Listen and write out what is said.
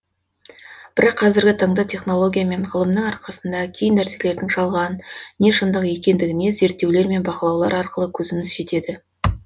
бірақ қазіргі таңда технология мен ғылымның арқасында кей нәрселердің жалған не шындық екендігіне зерттеулер мен бақылаулар арқылы көзіміз жетеді